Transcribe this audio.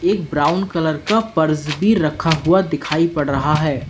एक brown colour का purse भी रखा हुआ दिखाई पड़ रहा है।